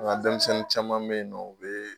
An ka denmisɛnnin caman bɛ yen nɔ u bɛ